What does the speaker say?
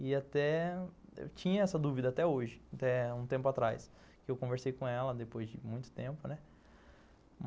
E até... eu tinha essa dúvida até hoje, até um tempo atrás, que eu conversei com ela depois de muito tempo, né?